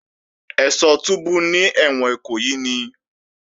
Ẹ́ṣọ́ túbú ní ẹ̀wọ̀n Ìkòyí ni